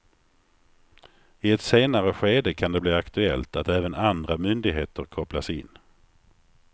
I ett senare skede kan det bli aktuellt att även andra myndigheter kopplas in.